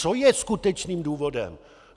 Co je skutečným důvodem?